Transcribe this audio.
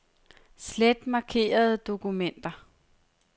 Slet markerede dokumenter.